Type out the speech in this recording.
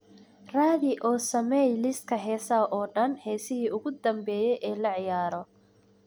raadi oo samee liiska heesaha oo dhan heesihii ugu dambeeyay ee la ciyaaro